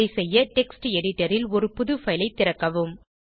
அதை செய்ய text editor ல் ஒரு புது பைல் ஐ திறக்கவும்